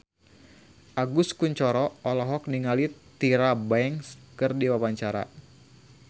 Agus Kuncoro olohok ningali Tyra Banks keur diwawancara